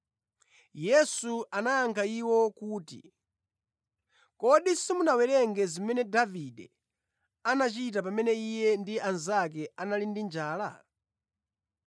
Yesu anawayankha iwo kuti, “Kodi simunawerenge zimene Davide anachita pamene iye ndi anzake anali ndi njala?